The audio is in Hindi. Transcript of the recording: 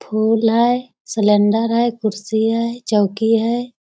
फूल है सिलेंडर है कुर्सी है चौकी है।